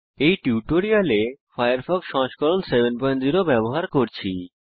এই টিউটোরিয়ালে আমরা উবুন্টু 1004 এ ফায়ারফক্স সংস্করণ 70 ব্যবহার করছি